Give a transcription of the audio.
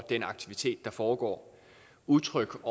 den aktivitet der foregår og utryg